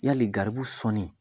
Yali garibuw sɔnni